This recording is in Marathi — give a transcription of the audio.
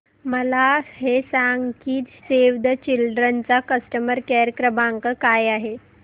मला हे सांग की सेव्ह द चिल्ड्रेन चा कस्टमर केअर क्रमांक काय आहे